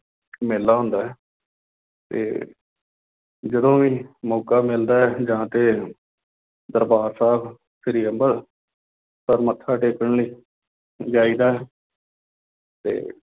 ਮੇਲਾ ਹੁੰਦਾ ਹੈ ਤੇ ਜਦੋਂ ਵੀ ਮੌਕਾ ਮਿਲਦਾ ਹੈ ਜਾ ਕੇ ਦਰਬਾਰ ਸਾਹਿਬ ਸ੍ਰੀ ਅੰਬਰਸਰ ਮੱਥਾ ਟੇਕਣ ਲਈ ਜਾਈਦਾ ਹੈ ਤੇ